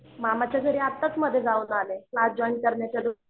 मामाच्या घरी आत्ताच मध्ये जाऊन आले क्लास जॉईन करण्याच्या आधी